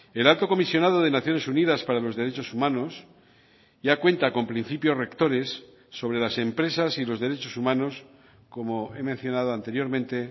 el alto comisionado de naciones unidas para los derechos humanos ya cuenta con principios rectores sobre las empresas y los derechos humanos como he mencionado anteriormente